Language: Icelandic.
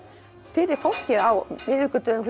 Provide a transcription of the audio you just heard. fyrir fólk á miðvikudögum